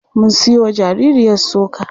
Mun siyowa jaririyar soka.